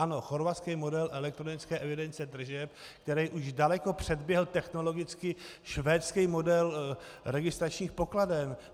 Ano, chorvatský model elektronické evidence tržeb, který už daleko předběhl technologicky švédský model registračních pokladen.